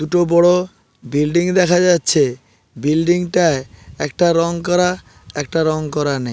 দুটো বড় বিল্ডিং দেখা যাচ্ছে। বিল্ডিং -টায় একটা রং করা একটা রং করা নে--